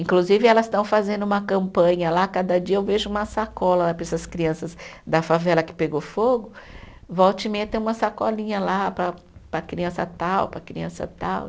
Inclusive elas estão fazendo uma campanha lá, cada dia eu vejo uma sacola lá para essas crianças da favela que pegou fogo, volta e meia tem uma sacolinha lá para, para a criança tal, para a criança tal.